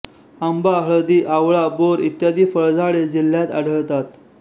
आंबा हळदी आवळा बोर इत्यादी फळझाडे जिल्ह्यात आढळतात